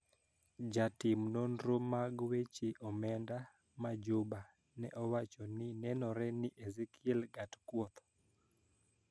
Jatim nonro mag weche omenda ma Juba ne owacho ni nenore ni Ezekiel Gatkuoth